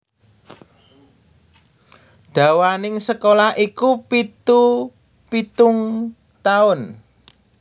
Dawaning sekolah iku pitu pitung taun